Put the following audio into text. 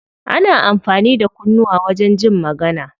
Ana amfani da kunnuwa wajen jin magana.